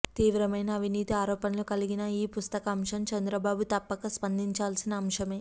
తీవ్రమైన అవినీతి ఆరోపణలు కలిగిన ఈ పుస్తక అంశం చంద్రబాబు తప్పక స్పందించాల్సిన అంశమే